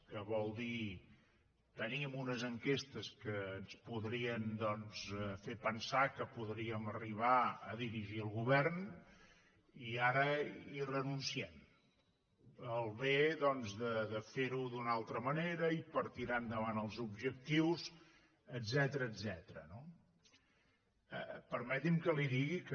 que vol dir tenim unes enquestes que ens podrien doncs fer pensar que podríem arribar a dirigir el govern i ara hi renunciem pel bé de fer ho d’una altra manera i per tirar endavant els objectius etcètera no permeti’m que li digui que